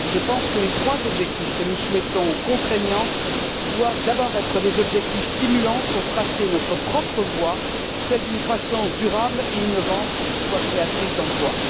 Je pense que les trois objectifs que nous souhaitons contraignants doivent d'abord être des objectifs stimulants pour tracer notre propre voie, celle d'une croissance durable et innovante qui soit créatrice d'emplois.